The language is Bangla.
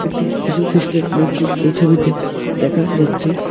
একটি যীশুখ্রীষ্টের মূর্তি এই ছবিতে দেখা যাচ্ছে।